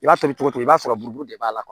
I b'a tobi cogo i b'a sɔrɔ buru de b'a la